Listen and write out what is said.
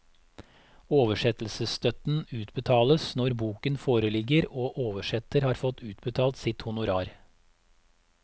Oversettelsesstøtten utbetales når boken foreligger og oversetter har fått utbetalt sitt honorar.